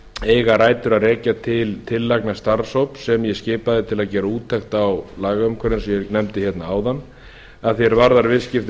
eiga rætur að rekja til tillagna starfshóps sem ég skipaði til að gera úttekt að lagaumhverfi eins og ég nefndi hérna áðan að því er varðar viðskipti